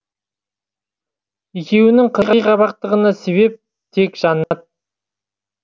екеуінің қырғи қабақтығына себеп тек жаннат